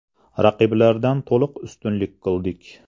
Raqiblardan to‘liq ustunlik qildik.